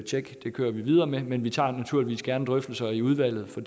tjek det kører vi videre med men vi tager naturligvis gerne drøftelser i udvalget for